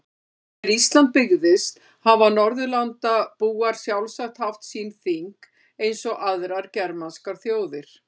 Þegar Ísland byggðist hafa Norðurlandabúar sjálfsagt haft sín þing eins og aðrar germanskar þjóðir.